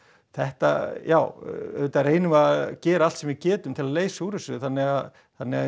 þetta já auðvitað reynum við að gera allt sem við getum til þess að leysa úr þessu þannig að þannig að